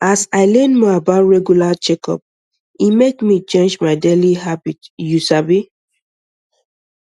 as i learn more about um regular checkup e make me change my daily habit you um sabi